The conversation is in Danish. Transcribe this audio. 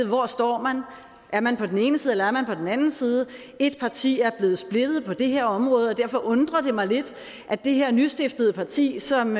hvor står man er man på den ene side eller er den anden side et parti er blevet splittet på det her område og derfor undrer det mig lidt at det her nystiftede parti som